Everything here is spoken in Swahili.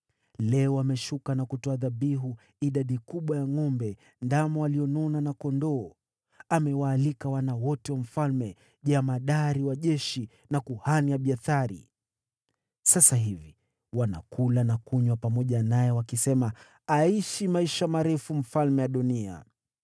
Leo ameshuka na kutoa dhabihu idadi kubwa ya ngʼombe, ndama walionona na kondoo. Amewaalika wana wote wa mfalme, jemadari wa jeshi na kuhani Abiathari. Sasa hivi, wanakula na kunywa pamoja naye wakisema, ‘Aishi maisha marefu, Mfalme Adoniya!’